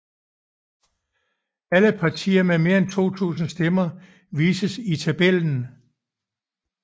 Alle partier med mere end 2000 stemmer vises i tabellen